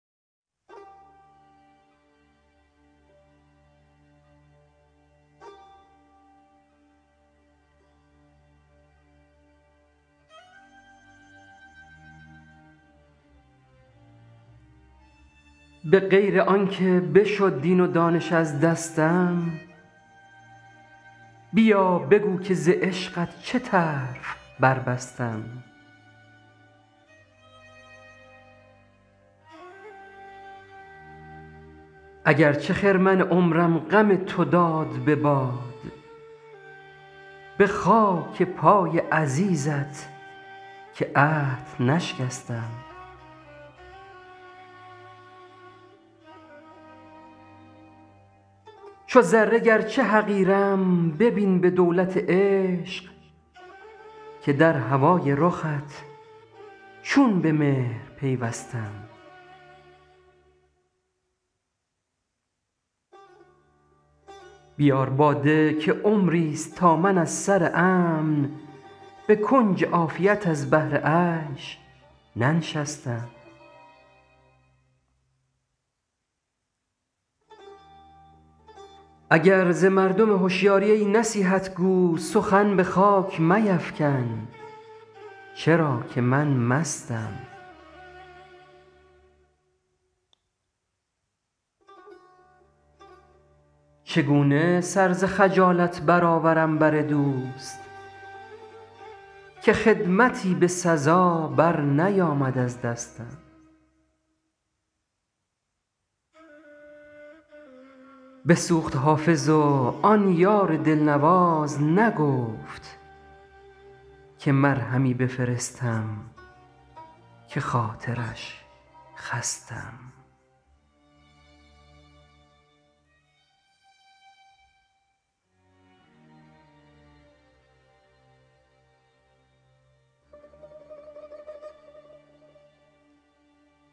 به غیر از آن که بشد دین و دانش از دستم بیا بگو که ز عشقت چه طرف بربستم اگر چه خرمن عمرم غم تو داد به باد به خاک پای عزیزت که عهد نشکستم چو ذره گرچه حقیرم ببین به دولت عشق که در هوای رخت چون به مهر پیوستم بیار باده که عمریست تا من از سر امن به کنج عافیت از بهر عیش ننشستم اگر ز مردم هشیاری ای نصیحت گو سخن به خاک میفکن چرا که من مستم چگونه سر ز خجالت برآورم بر دوست که خدمتی به سزا برنیامد از دستم بسوخت حافظ و آن یار دلنواز نگفت که مرهمی بفرستم که خاطرش خستم